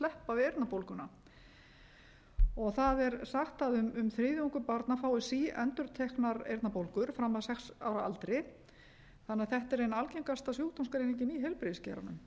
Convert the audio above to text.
sleppa við eyrnabólguna það er sagt að um þriðjungur barna fái síendurteknar eyrnabólgur fram að sex ára aldri þannig að þetta er ein algengasta sjúkdómsgreiningin í heilbrigðisgeiranum